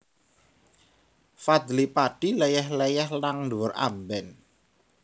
Fadly Padi leyeh leyeh nang dhuwur amben